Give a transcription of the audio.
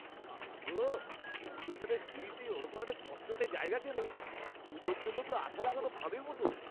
বাবা গো! এসকেলেটরের সিঁড়িতে ওরকম একটা চটচটে জায়গা কেন? জুতোর জন্যে তো আঠা লাগানো ফাঁদের মতো!